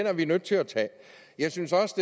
er vi nødt til at tage jeg synes også